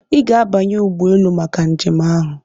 Ị ga-abanye ụgbọ elu maka njem ahụ!